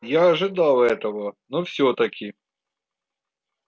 я ожидал этого но всё таки